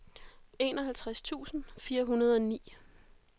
enoghalvtreds tusind fire hundrede og ni